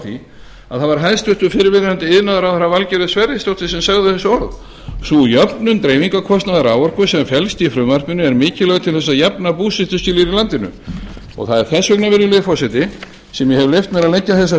því að það var hæstvirtur fyrrverandi iðnaðarráðherra valgerður sverrisdóttir sem sagði þessi orð sú jöfnun dreifingarkostnaðar raforku sem felst í frumvarpinu er mikilvæg til þess að jafna búsetuskilyrði í landinu það er þess vegna virðulegi forseti sem ég hef leyft mér að leggja þessa